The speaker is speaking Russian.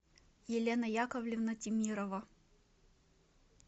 елена яковлевна темирова